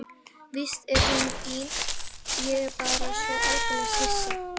Víst er hún fín, ég er bara svo aldeilis hissa.